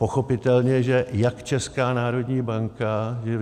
Pochopitelně, že jak Česká národní banka...